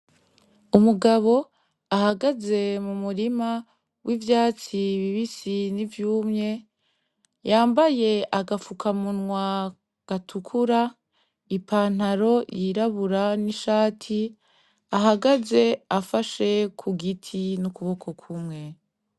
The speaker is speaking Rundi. Umugabo ahagaze mu murima w'ivyatsi bibisi n'ivyumye yambaye agapfuka munwa gatukura ipantaro yirabura n'ishati ahagaze afashe ku giti n'ukuboko kumwe.